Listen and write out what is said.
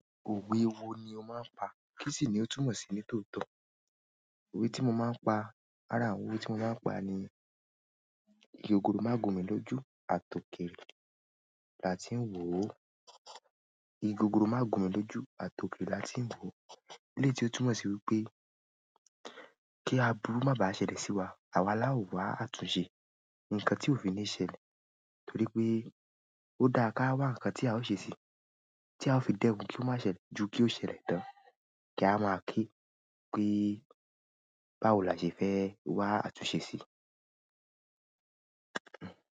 Òwe wo ni o máa ń pa, kí sì ni o túmọ̀ sí nítòótọ́? Òwe tí mo máa ń pa, lára àwọn òwe tí mo máa ń pa ni "Igi ògòró máa gùn mí lójú, a tòkèèrè là tí ń wò ó." "Igi ògòró máa gùn mí lójú, a tòkèèrè là tí ń wò ó." Eléyiì ó túmọ̀ sí wípé kí aburu má bàá ṣẹlẹ̀ sí wa, àwa láowàá àtúnṣe ǹkan tí ó fi ní ṣẹlẹ̀ torí pé ó dáa ká wá ǹkan tí a ó ṣe si tí a ó fi dẹ́kun kí ó má ṣẹlẹ̀ ju kí ó ṣẹlẹ̀ tán kí a máa ke pé báwò làṣẹ fẹ́ wá àtúnṣe si.